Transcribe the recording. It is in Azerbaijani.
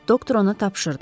Doktor ona tapşırdı.